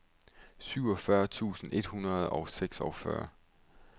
syvogfyrre tusind et hundrede og seksogfyrre